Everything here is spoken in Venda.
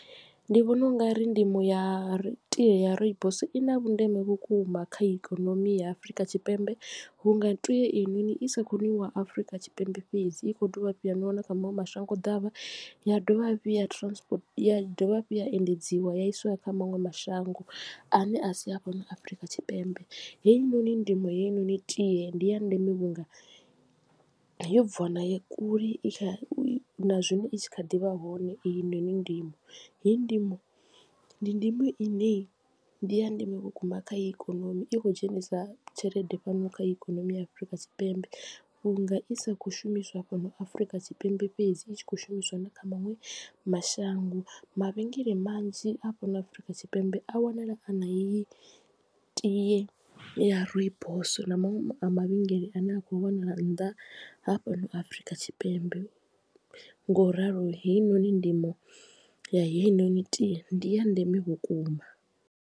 Ndi vhona u nga ri ndimo ya tie ya rooibos i na vhundeme vhukuma kha ikonomi ya Afurika Tshipembe vhu nga tie ei noni i sa kho nwiwa Afrika Tshipembe fhedzi i kho dovha hafhu ya nwiwa na kha maṅwe mashango ḓavha ya dovha hafhu ya transport ya dovha hafhu ya endedziwa ya iswa kha maṅwe mashango a ne a si a fhano Afurika Tshipembe. Heinoni ndimo ya heinoni tie ndi ya ndeme vhunga yo bviwa nayo kule i kha na zwino i tshi kha ḓivha hone heyi noni ndimo heyi ndimo ndi ndimo ine ndi ya ndeme vhukuma kha ikonomi i khou dzhenisa tshelede fhano kha ikonomi ya Afurika Tshipembe vhunga i sa kho shumiswa fhano Afrika Tshipembe fhedzi i tshi khou shumiswa na kha maṅwe mashango. Mavhengele manzhi a fhano Afrika Tshipembe a wanala a na heyi tie ya rooibos na maṅwe a mavhengele a ne a khou wanala nnḓa ha fhano Afurika Tshipembe nga u ralo heinoni ndimo ya heinoni tie ndi ya ndeme vhukuma.